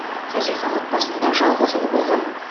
хазихан отбасында жалғыз ұл болған